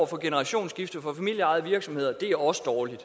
for generationsskifte for familieejede virksomheder er også dårligt